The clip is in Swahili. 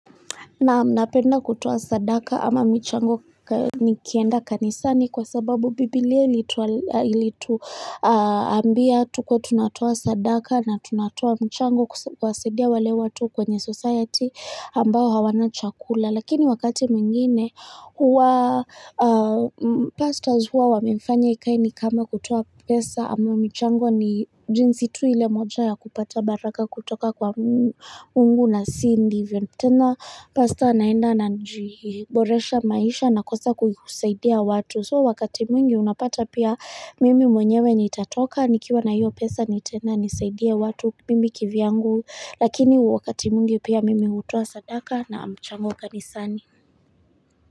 Naam napenda kutoa sadaka ama michango nikienda kanisani kwa sababu Biblia ilituambia tukuwe tunatoa sadaka na tunatoa mchango kuwasaidia wale watu kwenye society ambao hawana chakula. Lakini wakati mwingine huwa pastors huwa wamefanya ikae ni kama kutoa pesa ama michango ni jinsi tu ile moja ya kupata baraka kutoka kwa Mungu na si ndivyo tena pastor anaenda anajiboresha maisha na kukosa kusaidia watu. So wakati mwingi unapata pia mimi mwenyewe nitatoka nikiwa na hiyo pesa nitaenda nisaidie watu mimi kivyangu lakini wakati mwingi pia mimi hutoa sadaka na mchango kanisani.